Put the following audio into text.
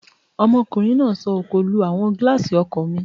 Ọmọkùnrin náà sọ òkò lu àwọn gílààsì ọkọ̀ mi